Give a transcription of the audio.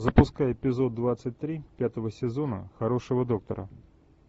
запускай эпизод двадцать три пятого сезона хорошего доктора